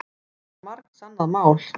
Það var margsannað mál.